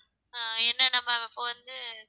அஹ் என்னா நம்ம அப்ப வந்து